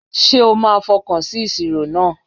Ṣé o máa fọkàn sí ìṣirò náà!